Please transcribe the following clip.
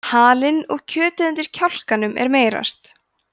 halinn og kjötið undir kjálkanum er meyrast